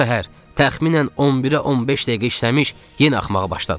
"Bu səhər təxminən 11-ə 15 dəqiqə işləmiş, yenə axmağa başladı."